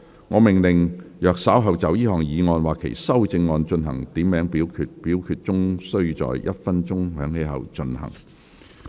我命令若稍後就這項議案或其修正案進行點名表決，表決須在鐘聲響起1分鐘後進行。